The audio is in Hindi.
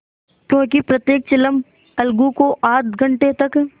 क्योंकि प्रत्येक चिलम अलगू को आध घंटे तक